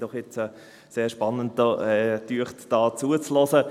Ich fand es doch recht spannend, zuzuhören.